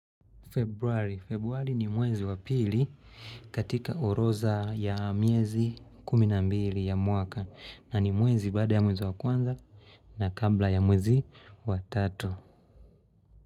Februari ni mwezi wa pili katika oroza ya miezi kumi na mbili ya mwaka, na ni mwezi baada ya mwezi wa kwanza na kabla ya mwezi wa tatu.